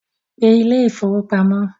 Pe ilé ìfowópamọ́